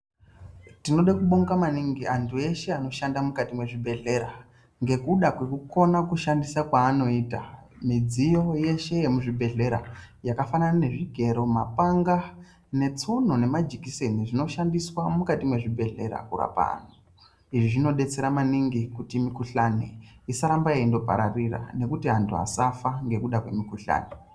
Tinode kubonga maningi anhu eshe anoshande muzvibhehlera ngekuda kwekukona kushandisa kwaanoita midziyo yeshe yemuzvibhehlera yakafanana ne zvigero ,mapanga ,netsono nemajekiseni zvinoshandiswa mukati mwezvibhehlera kurapa anhu izvi zvinodetsera maningi kuti mihkuhlani isandorambe yeipararira nekuti anhu asafa nekuda kwemikhuhlani.